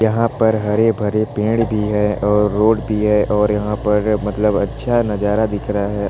यहाँ पर हरे -भरे पेड़ भी है और रोड भी है और यहाँ पर मतलब अच्छा नजारा दिख रहा हैं।